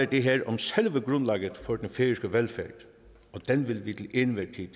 det her om selve grundlaget for den færøske velfærd og den vil vi til enhver tid